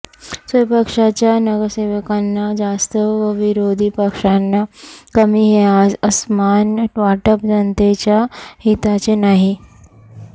स्वपक्षाच्या नगरसेवकांना जास्त व विरोधी पक्षांना कमी हे असमान वाटप जनतेच्या हिताचे नाही